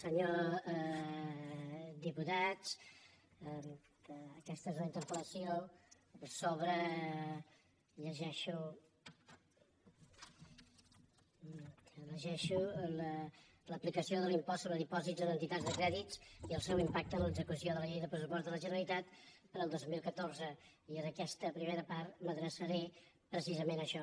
senyors diputats aquesta és una interpelpost sobre dipòsits en entitats de crèdit i el seu impacte en l’execució de la llei de pressupostos de la generalitat per al dos mil catorze i en aquesta primera part m’adreçaré precisament a això